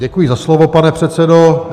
Děkuji za slovo, pane předsedo.